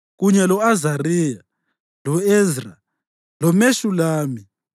kunye lo-Azariya, lo-Ezra, loMeshulami,